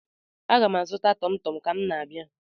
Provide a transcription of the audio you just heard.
Aga m azụ tọmtọm ka m na-abịa.